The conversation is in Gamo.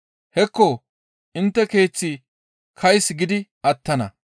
Hekko intte keeththi kays gidi attana.